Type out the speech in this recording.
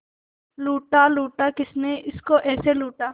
लूटा लूटा किसने उसको ऐसे लूटा